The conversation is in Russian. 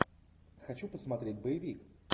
хочу посмотреть боевик